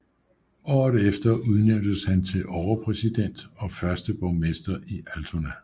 Året efter udnævntes han til overpræsident og første borgmester i Altona